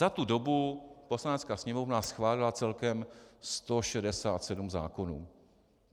Za tu dobu Poslanecká sněmovna schválila celkem 167 zákonů.